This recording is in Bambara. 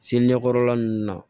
Seli ɲɛkɔrɔla nunnu na